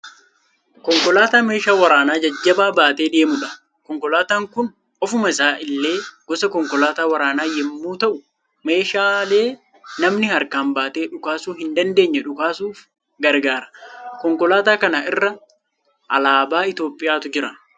Konkolaataa meeshaa waraanaa jajjabaa baatee deemuudha. Konkolaataan kun ofuma isaa illee gosa konkolaataa waraanaa yemmuu ta'u meeshaalee namni harkaan baatee dhukaasuu hin dandeenye dhukaasuuf gargaara. Konkolaataa kana irra alaabaa Itiyoopiyaatu jira.